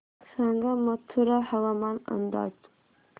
सांगा मथुरा हवामान अंदाज